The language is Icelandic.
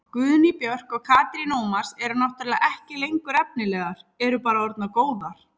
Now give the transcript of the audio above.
Guðný Björk og Katrín Ómars eru náttúrulega ekki lengur efnilegar, eru bara orðnar góðar.